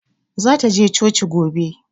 Zata je coci gobe.